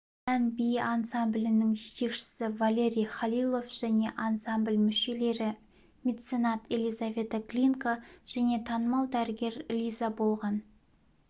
ән-би ансамблінің жетекшісі валерий халилов және ансамбль мүшелері меценат елизавета глинка және танымал дәрігер лиза болған